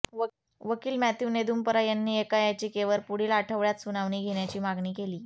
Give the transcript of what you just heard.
वकील मॅथ्यू नेदुम्परा यांनी एका याचिकेवर पुढील आठवड्यात सुनावणी घेण्याची मागणी केली